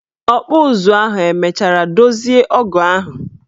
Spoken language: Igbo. Ọkpụụzụ ahụ emechara dozie ọgụ ahụ?